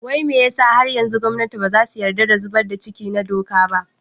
Wai me yasa har yanzu gwamnati baza su yadda da zubar da ciki na doka ba?